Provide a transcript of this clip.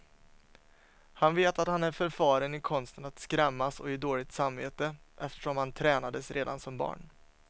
Han vet att han är förfaren i konsten att skrämmas och ge dåligt samvete, eftersom han tränades redan som barn.